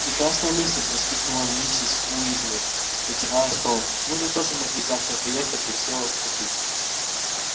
прекрасная мысль воскликнула миссис уизли вытирая стол мы бы тоже могли завтра поехать и все купить